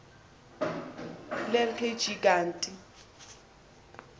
lel kg kanti